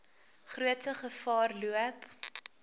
grootste gevaar loop